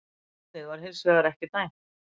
Hornið var hins vegar ekki dæmt